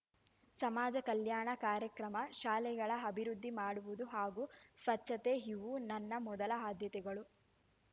ಸಮಾಜ ಕಲ್ಯಾಣ ಕಾರ್ಯಕ್ರಮ ಶಾಲೆಗಳ ಅಭಿವೃದ್ಧಿ ಮಾಡುವುದು ಹಾಗೂ ಸ್ವಚ್ಛತೆ ಇವು ನನ್ನ ಮೊದಲ ಆದ್ಯತೆಗಳು